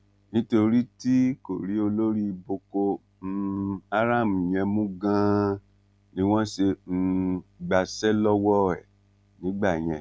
nítorí tí kò rí olórí boko um haram yẹn mú ganan ni wọn ṣe um gbàṣẹ lọwọ ẹ nígbà yẹn